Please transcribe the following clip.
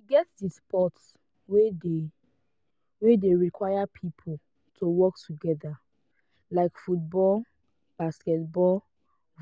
e get di sport wey de wey de require pipo to work together like football basketball